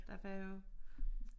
Der var jo